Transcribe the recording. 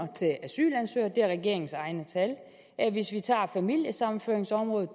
til asylansøgere det er regeringens eget tal hvis vi tager familiesammenføringsområdet